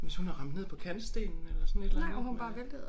Hvis hun har ramt ned på kantstenen eller sådan et eller andet øh